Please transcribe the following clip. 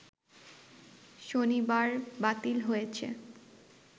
শনিবার বাতিল হয়েছে